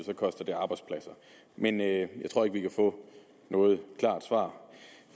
så koster det arbejdspladser men jeg tror ikke vi kan få noget klart svar